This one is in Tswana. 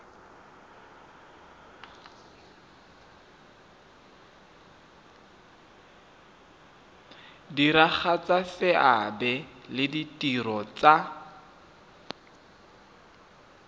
diragatsa seabe le ditiro tsa